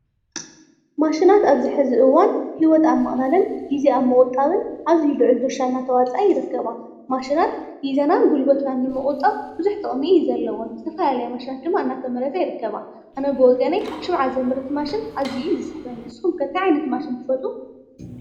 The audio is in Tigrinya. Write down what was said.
ማሽናት ኣብዚሒዚ እዋን ሂወት ኣብ ምቅላልን ግዜ ኣብ ምቁጣብን ኣዝዩ ልዑል ድርሻ እስተዋፅኣ ይርከባ። ማሽናት ግዜናን ገንዘብናን ንምቁጣብ ብዙሑ ጥቅሚ እዩ ዘለወን። ዝተፈላለያ ማሽናት እናተመረታ ይርከባ። ኣነ ብወገነይ ሽምዓ ዘምርት ማሽን ኣዝዩ እዩ ዝስሕበኒ። ንስኩም ከ እንታይ ዓይነት ማሽን ትፈትው?